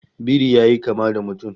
Biri yayi kama da mutum